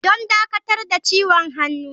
Don dakatar da ciwon hannu.